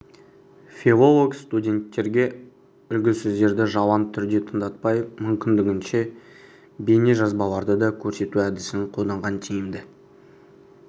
филолог-студенттерге үлгісөздерді жалаң түрде тыңдатпай мүмкіндігінше бейнежазбаларды да көрсету әдісін қолданған тиімді